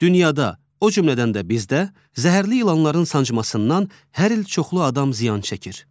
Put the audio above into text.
Dünyada, o cümlədən də bizdə zəhərli ilanların sancmasından hər il çoxlu adam ziyan çəkir.